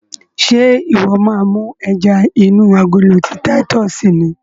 Ṣe iwọ máa mú ẹja inú agolo ti titus ni?